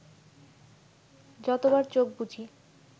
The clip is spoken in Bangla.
যতবার চোখ বুজি